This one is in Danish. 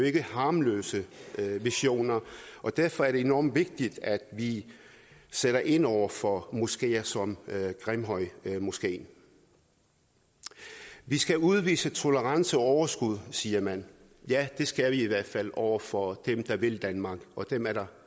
ikke harmløse visioner derfor er det enormt vigtigt at vi sætter ind over for moskeer som grimhøjmoskeen vi skal udvise tolerance og overskud siger man ja det skal vi i hvert fald over for dem der vil danmark og dem er der